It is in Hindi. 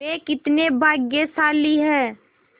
वे कितने भाग्यशाली हैं